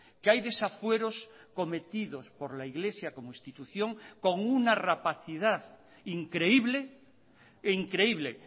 que hay desafueros cometidos por la iglesia como institución con una rapacidad increíble e increíble